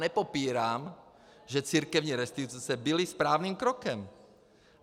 Nepopírám, že církevní restituce byly správným krokem.